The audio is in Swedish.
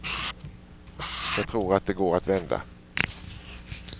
Jag tror att det går att vända.